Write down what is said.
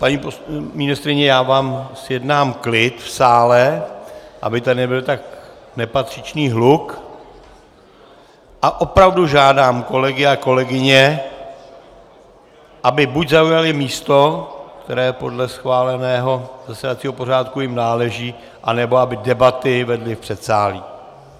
Paní ministryně, já vám zjednám klid v sále, aby tady nebyl tak nepatřičný hluk, a opravdu žádám kolegy a kolegyně, aby buď zaujali místo, které podle schváleného zasedacího pořádku jim náleží, anebo aby debaty vedli v předsálí.